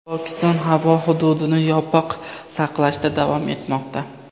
Pokiston havo hududini yopiq saqlashda davom etmoqda.